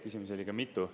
Küsimusi oli ka mitu.